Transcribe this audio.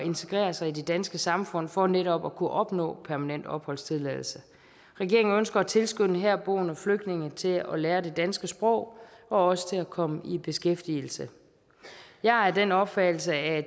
integrere sig i det danske samfund for netop at kunne opnå permanent opholdstilladelse regeringen ønsker at tilskynde herboende flygtninge til at lære det danske sprog og også til at komme i beskæftigelse jeg er af den opfattelse at